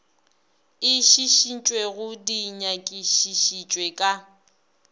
e šišintšwego di nyakišišitšwe ka